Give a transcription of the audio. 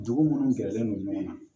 Dugu munnu gɛrɛlen don ɲɔgɔn na